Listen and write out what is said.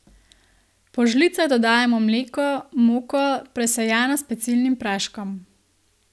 Po žlicah dodajamo mleko, moko, presejano s pecilnim praškom.